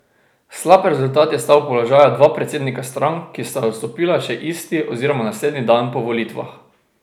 Slab rezultat je stal položaja dva predsednika strank, ki sta odstopila še isti oziroma naslednji dan po volitvah.